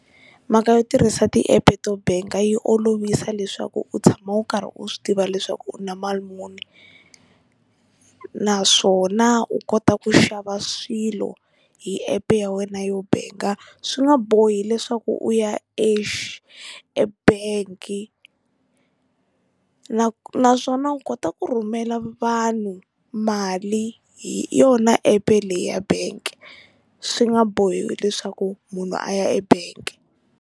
Mhaka yo tirhisa tiepe to benka yi olovisa leswaku u tshama u karhi u swi tiva leswaku u na mali muni naswona u kota ku xava swilo hi epe ya wena yo benka swi nga bohi leswaku u ya e-bank na naswona u kota ku rhumela vanhu mali hi yona epe leyi ya bank swi nga bohi leswaku munhu a ya e-bank.